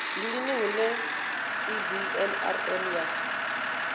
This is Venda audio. ndi lini hune cbnrm ya